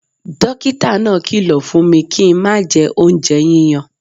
Dókítà náà kìlọ̀ fún mi kí n má jẹ oúnjẹ yíyan